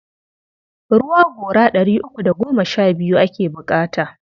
Ruwa gora ɗari uku da goma sha biyu ake buƙata.